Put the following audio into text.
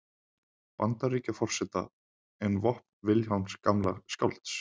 Bandaríkjaforseta en vopn Vilhjálms gamla skálds.